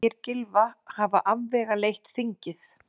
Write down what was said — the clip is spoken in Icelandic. Segir Gylfa hafa afvegaleitt þingið